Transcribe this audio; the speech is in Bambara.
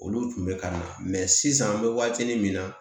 Olu tun bɛ ka na sisan an bɛ waatinin min na